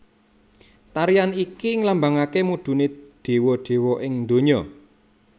Tarian iki nglambangake mudune dewa dewa ing donya